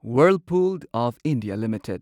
Whirlpool of India limited